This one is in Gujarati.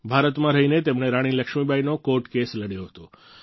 ભારતમાં રહીને તેમણે રાણી લક્ષ્મીબાઈનો કોર્ટ કેસ લડ્યો હતો